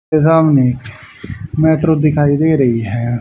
के सामने मेट्रो दिखाई दे रही है।